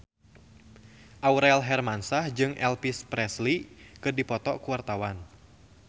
Aurel Hermansyah jeung Elvis Presley keur dipoto ku wartawan